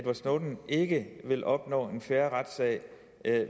snowden ikke vil opnå en fair retssag